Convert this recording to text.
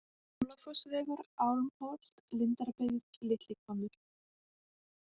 Álafossvegur, Álmholt, Lindarbyggð, Litli Hvammur